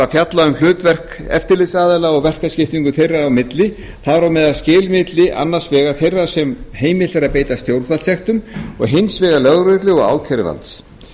fjalla um hlutverk eftirlitsaðila og verkaskiptingu þeirra á milli þar á meðal skil milli annars vegar þeirra sem er heimilt að beita stjórnvaldssektum og hins vegar lögreglu og ákæruvalds